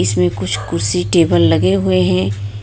इसमें कुछ कुर्सी टेबल लगे हुए हैं